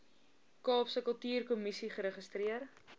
kaapse kultuurkommissie geregistreer